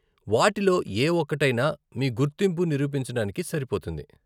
వాటిలో ఏ ఒక్కటైనా మీ గుర్తింపు నిరూపించడానికి సరిపోతుంది.